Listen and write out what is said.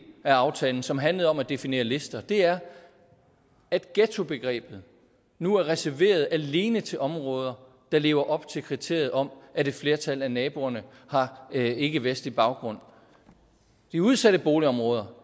af aftalen som handlede om at definere lister er at ghettobegrebet nu er reserveret alene til områder der lever op til kriteriet om at et flertal af naboerne har ikkevestlig baggrund de udsatte boligområder